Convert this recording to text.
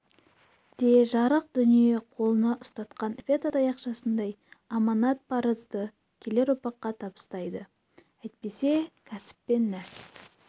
де жарық дүние қолына ұстатқан эстафета таяқшасындай аманат-парызды келер ұрпаққа табыстайды әйтпесе кәсіп пен нәсіп